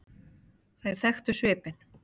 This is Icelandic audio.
Þær þekktu svipinn.